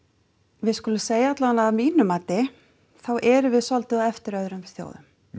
við skulum segja allavega að mínu mati þá erum við svolítið á eftir öðrum þjóðum